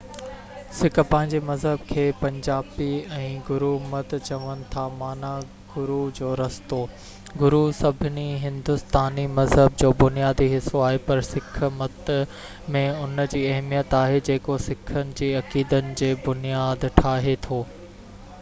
Sick پنهنجي مذهب کي پنجابي ۾ گرو مت چون ٿا معنيٰ گرو جو رستو". گرو سڀني هندوستاني مذهب جو بنيادي حصو آهي پر سِک مت ۾ ان جي اهميت آهي جيڪو سِکن جي عقيدن جي بنياد ٺاهي ٿو